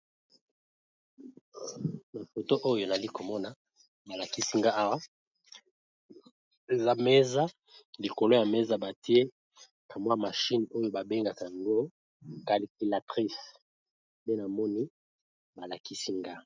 Photo oyo elakisi biso mesa lokolo ya mesa oyo batiye kamwa machine namonoko ya lopoto babengaka yango calculatrice